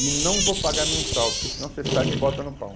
E não vou pagar mensal, porque senão você sai e me bota no pau.